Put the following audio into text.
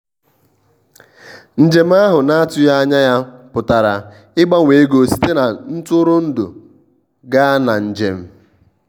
njem ahụ na-atụghị anya ya pụtara ịgbanwe ego site na ntụrụndụ gaa na njem.